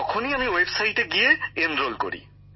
তখনই আমি ওয়েবসাইটে গিয়ে নাম নথিভুক্ত করি